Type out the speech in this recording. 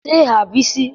Kwụsị ịgha Bisi!